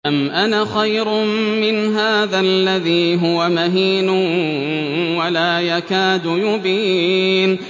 أَمْ أَنَا خَيْرٌ مِّنْ هَٰذَا الَّذِي هُوَ مَهِينٌ وَلَا يَكَادُ يُبِينُ